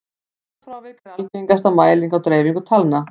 staðalfrávik er algengasta mæling á dreifingu talna